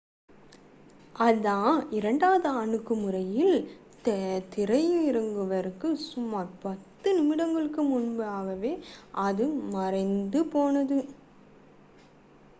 அதன் இரண்டாவது அணுகுமுறையில் தரையிறங்குவதற்கு சுமார் பத்து நிமிடங்களுக்கு முன்பாக அது மறைந்து போனது